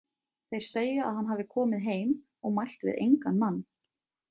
Þeir segja að hann hafi komið heim og mælt við engan mann.